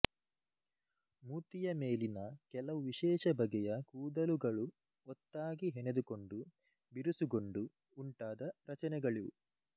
ಮೂತಿಯ ಮೇಲಿನ ಕೆಲವು ವಿಶೇಷ ಬಗೆಯ ಕೂದಲುಗಳು ಒತ್ತಾಗಿ ಹೆಣೆದುಕೊಂಡು ಬಿರುಸುಗೊಂಡು ಉಂಟಾದ ರಚನೆಗಳಿವು